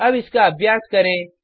अब इसका अभ्यास करें